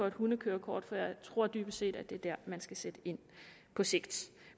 et hundekørekort for jeg tror dybest set at det er dér man skal sætte ind på sigt